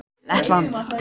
Lettland